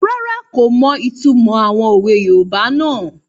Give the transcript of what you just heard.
Rárá, kò mọ ìtumọ̀ àwọn òwe yoòbá náà